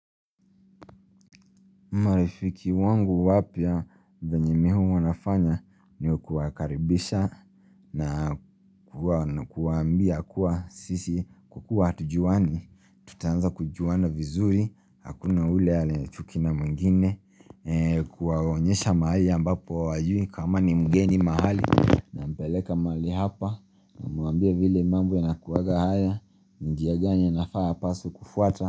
Marafiki wangu wapya venye mimi huwa nafanya ni kuwakaribisha na kuwambia kuwa sisi kukuahatujuani Tutaanza kujuana vizuri, hakuna yule anaye chuki mwingine, kuwaonyesha mahali ambapo hawajui kama ni mgeni mahali na mpeleka mahali hapa, namwambia vile mambo yanakuwaga haya, njia gani anafaa apaswe kufuata.